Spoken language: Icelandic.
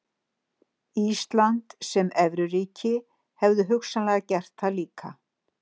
Ísland sem evruríki hefðu hugsanlega gert það líka.